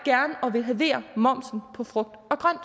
ville halvere momsen på frugt og grønt